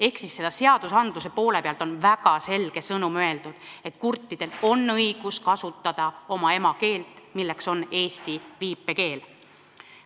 Ehk siis seadustes on väga selge sõnum: kurtidel inimestel on õigus kasutada oma emakeelt, milleks on eesti viipekeel.